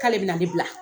K'ale bɛna ne bila